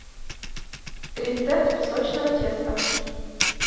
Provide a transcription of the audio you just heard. рецепт песочного теста